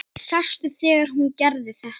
Sástu þegar hún gerði þetta?